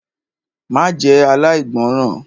Má jẹ́ aláìgbọràn!